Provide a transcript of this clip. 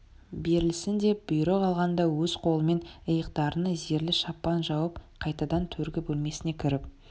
берілсін деп бұйрық алған да өз қолымен иықтарына зерлі шапан жауып қайтадан төргі бөлмесіне кіріп